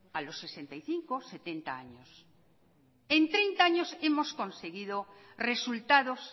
a los sesenta y cinco o setenta años en treinta años hemos conseguido resultados